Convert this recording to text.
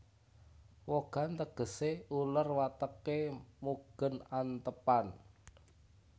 Wogan tegesé uler wateké mugên antêpan